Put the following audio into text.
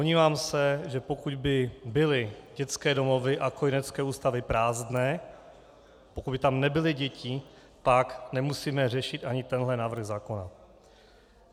Domnívám se, že pokud by byly dětské domovy a kojenecké ústavy prázdné, pokud by tam nebyly děti, pak nemusíme řešit ani tento návrh zákona.